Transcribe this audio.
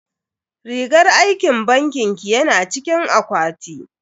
Rigar aikin bankin ki yana cikin akwati.